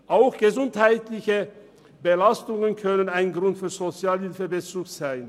Auch gesundheitliche Belastungen können ein Grund für Sozialhilfebezug sein.